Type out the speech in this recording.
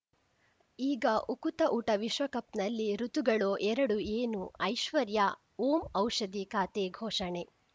ಈಗ ಉಕುತ ಊಟ ವಿಶ್ವಕಪ್‌ನಲ್ಲಿ ಋತುಗಳು ಎರಡು ಏನು ಐಶ್ವರ್ಯಾ ಓಂ ಔಷಧಿ ಖಾತೆ ಘೋಷಣೆ